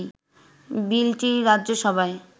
বিলটি রাজ্যসভায়